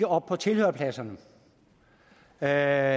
op på tilhørerpladserne her